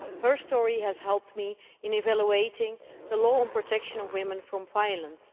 Her story has helped me in evaluating the law on the protection of women from violence.